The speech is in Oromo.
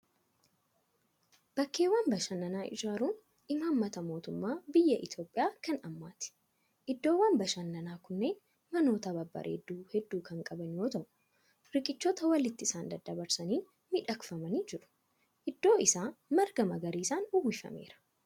Bakkeewwan bashannanaa ijaaruun imaammata mootummaa biyya Itoophiyaa kan ammaati. Iddoowwan bashannanaa kunneen manoota babbareedoo hedduu kan qabu yoo ta'u, riqichoota walitti isaan daddabarsaniin miidhagfamanii jiru. Iddoon isaa marga magariisaan uwwifameera.